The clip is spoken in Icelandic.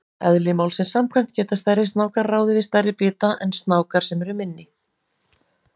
Eðli málsins samkvæmt geta stærri snákar ráðið við stærri bita en snákar sem eru minni.